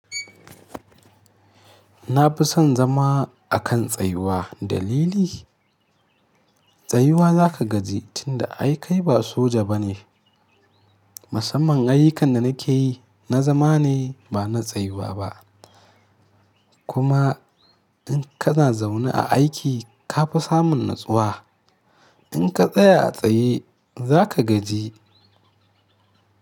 Na fi son zama a kan tsayuwa. Dalili? Tsayuwa za ka gaji tunda ai kai ba soja ba ne. Musamman ayyukan da na ke yi, na zama ne ba na tsayuwa ba. Kuma in ka na zaune a aiki ka fi samun natsuwa. In ka tsaya a tsaye za ka gaji.